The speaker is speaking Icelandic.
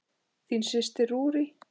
Þín systir, Rúrí.